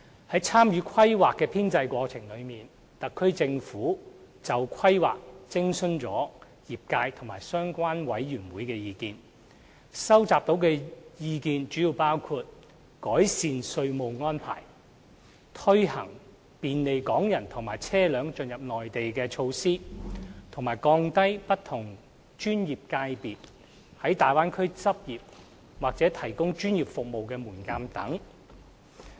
在參與《規劃》編製的過程中，特區政府就《規劃》徵詢了業界及相關委員會的意見，收集到的意見主要包括改善稅務安排、推行便利港人和車輛進入內地的措施，以及降低不同專業界別在大灣區執業或提供專業服務的門檻等。